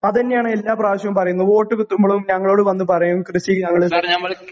അതന്ന്യാണ് എല്ലാ പ്രാവശ്യോം പറയുന്നത് വോട്ട് കിട്ടുമ്പളും ഞങ്ങളോട് വന്നു പറയും കൃഷി ഞങ്ങള്